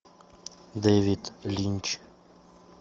дэвид линч